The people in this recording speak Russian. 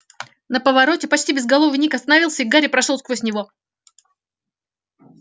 на повороте почти безголовый ник остановился и гарри прошёл сквозь него